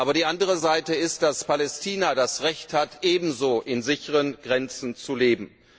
Aber die andere Seite ist, dass Palästina das Recht hat, ebenso in sicheren Grenzen zu leben.